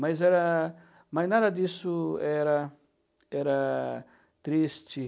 Mas era, mas nada disso era era triste.